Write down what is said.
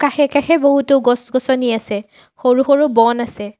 কাষে-কাষে বহুতো গছ-গছনি আছে সৰু-সৰু বন আছে।